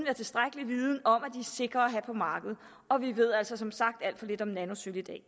har tilstrækkelig viden om at de sikre at have på markedet og vi ved altså som sagt alt for lidt om nanosølv i dag